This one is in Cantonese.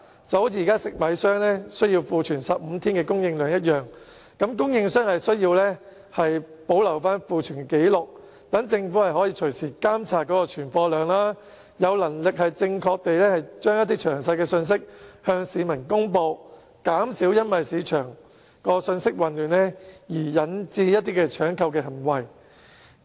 就像現時食米商須庫存15天供應量一樣，供應商同時須保留庫存紀錄，讓政府可隨時監察存貨量，向市民發放詳細而正確的信息，減少市場因信息混亂而引致出現搶購行為。